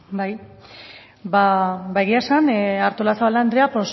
bai ba egia esan artolazabal andrea